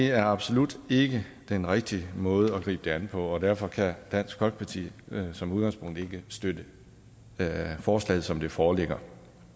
er absolut ikke den rigtige måde at gribe det an på og derfor kan dansk folkeparti som udgangspunkt ikke støtte forslaget som det foreligger